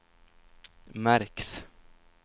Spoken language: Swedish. märks